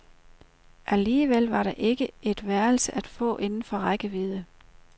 Alligevel var der ikke et værelse at få inden for rækkevidde.